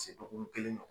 Se dɔgɔkun kelen ma